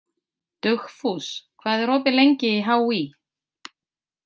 Dugfús, hvað er opið lengi í HÍ?